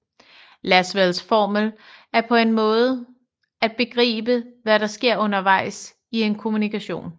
Lasswells formel er en måde at begribe hvad der sker undervejs i en kommunikation